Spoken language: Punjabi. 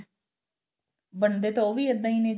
ਬਣਦੇ ਤਾਂ ਉਹ ਵੀ ਇੱਦਾਂ ਹੀ ਨੇ